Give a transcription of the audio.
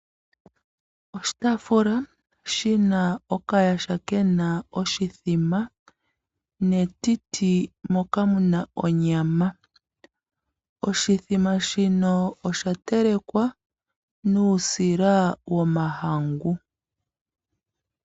Oshitaafula shina okayaha kena oshimbombo, netiti moka muna onyama. Oshimbombo shino osha telekwa nuusila womahangu.